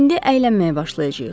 İndi əylənməyə başlayacağıq.